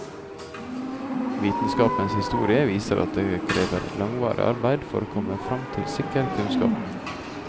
Vitenskapens historie viser at det krever langvarig arbeid for å komme frem til sikker kunnskap.